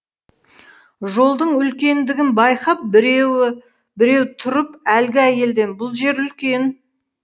жолдың үлкендігін байқап біреуі біреу тұрып әлгі әйелден бұл жер үлкен